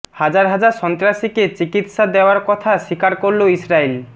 হাজার হাজার সন্ত্রাসীকে চিকিৎসা দেয়ার কথা স্বীকার করলো ইসরাইল